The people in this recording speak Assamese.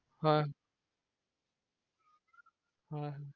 হয় হয়